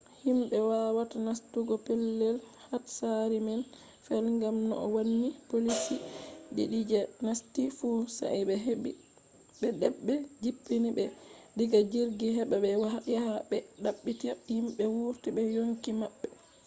himɓe wawata nastugo pellel hatsari man fe’i gam no wonni poliici ɗiɗi je nasti fu sai de ɓbe jippini ɓe diga jirgi heɓa ɓe yaha ɓe ɗaɓɓita himɓe wurti be yonki maɓɓe